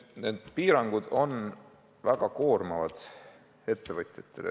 Need piirangud on väga koormavad ettevõtjatele.